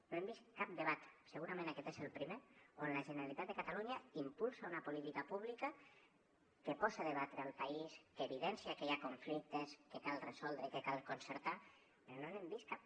no hem vist cap debat segurament aquest és el primer on la generalitat de catalunya impulsa una política pública que posa a debatre el país que evidencia que hi ha conflictes que cal resoldre i que cal concertar però no n’hem vist cap